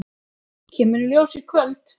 Kemur í ljós í kvöld.